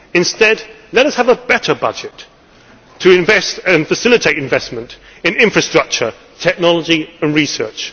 Instead, let us have a better budget, to invest and facilitate investment in infrastructure, technology and research.